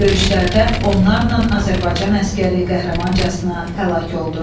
Döyüşlərdə onlarla Azərbaycan əsgəri qəhrəmancasına həlak oldu.